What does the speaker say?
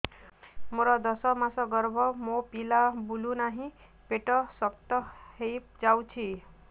ମୋର ଦଶ ମାସର ଗର୍ଭ ମୋ ପିଲା ବୁଲୁ ନାହିଁ ପେଟ ଶକ୍ତ ହେଇଯାଉଛି